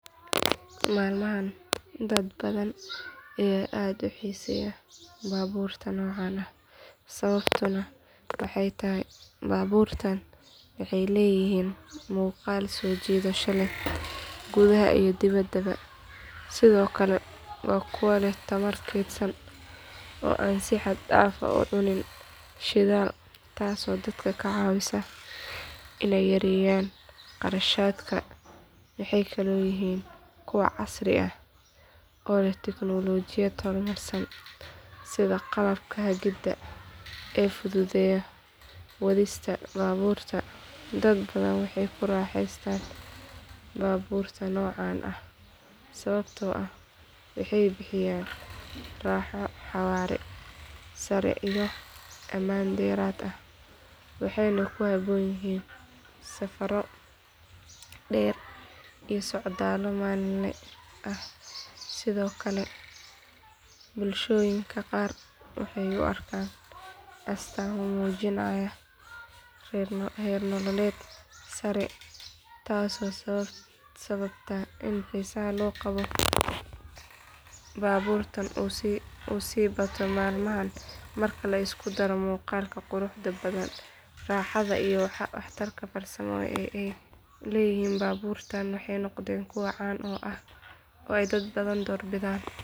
Maalmahan dad badan ayaa aad u xiiseeya baabuurta noocaan ah sababtuna waxay tahay baabuurtaan waxay leeyihiin muuqaal soo jiidasho leh gudaha iyo dibaddaba sidoo kale waa kuwo leh tamar kaydsan oo aan si xad dhaaf ah u cunin shidaal taasoo dadka ka caawisa inay yareeyaan kharashaadka waxay kaloo yihiin kuwo casri ah oo leh tiknoolajiyad horumarsan sida qalabka hagida ee fududeeya wadista baabuurka dad badan waxay ku raaxaystaan baabuurta noocaan ah sababtoo ah waxay bixiyaan raaxo xawaare sare iyo ammaan dheeraad ah waxayna ku habboon yihiin safarro dheer iyo socdaallo maalinle ah sidoo kale bulshooyinka qaar waxay u arkaan astaamo muujinaya heer nololeed sare taasoo sababta in xiisaha loo qabo baabuurtaan uu sii bato maalmahan marka la isku daro muuqaalka quruxda badan raaxada iyo waxtarka farsamo ee ay leeyihiin baabuurtaan waxay noqdeen kuwo caan ah oo ay dad badan doorbidaan.